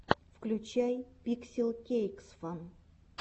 включай пикселкейксфан